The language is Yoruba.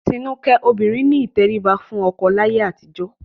Tinúkẹ́, obìnrin ní ìtẹríba fún ọkọ láyé àtijọ́